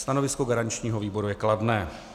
Stanovisko garančního výboru je kladné.